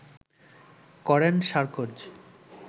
করেন সার্কোজ